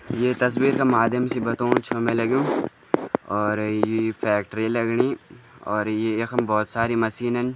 ये तस्वीर का माध्यम से बतौण छ मैं लग्युं और यी फैक्ट्री लगणी और ये यखम बहोत सारी मशीनन --